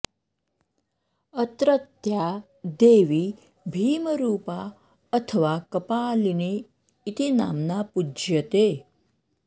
अत्रत्या देवी भीमरूपा अथवा कपालिनी इति नाम्ना पूज्यते